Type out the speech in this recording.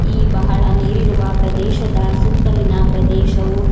ಈ ಬಹಳ ನೀರಿರುವ ಪ್ರದೇಶದ ಸುತ್ತಲಿನ ಪ್ರದೇಶವು--